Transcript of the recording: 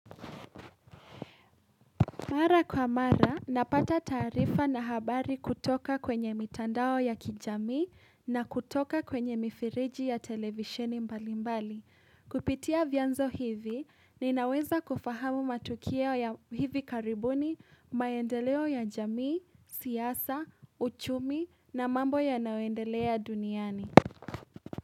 Mara kwa mara, napata taarifa na habari kutoka kwenye mitandao ya kijamii na kutoka kwenye mifereji ya televisheni mbali mbali. Kupitia vyanzo hivi, ninaweza kufahamu matukio ya hivi karibuni, maendeleo ya jamii, siasa, uchumi na mambo yanayoendelea duniani.